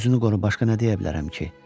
Özünü qoru, başqa nə deyə bilərəm ki?